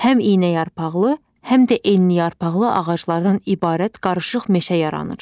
Həm iynəyarpaqlı, həm də enliyarpaqlı ağaclardan ibarət qarışıq meşə yaranır.